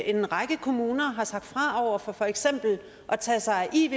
en række kommuner sagt fra over for for eksempel at tage sig af iv